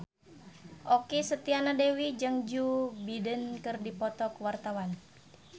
Okky Setiana Dewi jeung Joe Biden keur dipoto ku wartawan